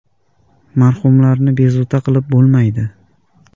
Marhumlarni bezovta qilib bo‘lmaydi.